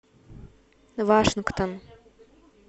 вашингтон